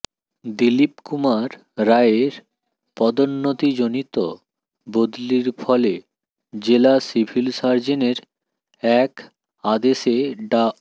দিলিপ কুমার রায়ের পদোন্নতিজনিত বদলির ফলে জেলা সিভিল সার্জনের এক আদেশে ডা